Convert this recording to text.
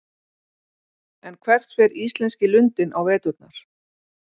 En hvert fer íslenski lundinn á veturna?